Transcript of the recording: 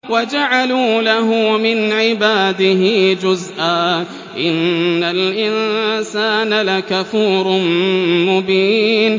وَجَعَلُوا لَهُ مِنْ عِبَادِهِ جُزْءًا ۚ إِنَّ الْإِنسَانَ لَكَفُورٌ مُّبِينٌ